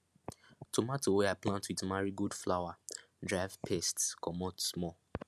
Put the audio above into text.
tomato wey i plant with marigold flower drive pests comot small